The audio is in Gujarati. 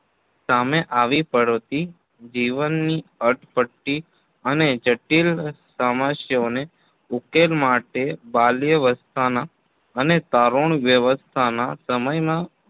સામે આવી પડતી જીવનની અટપટી અને જટિલ સમાસ્યાઓને ઉકેલ માટે બાલ્યવસ્થાના અને તારુણ્યવસ્થાના સમયમાં